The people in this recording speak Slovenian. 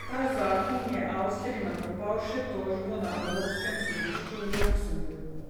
Ta zakon je Avstriji nakopal še tožbo na evropskem sodišču v Luksemburgu.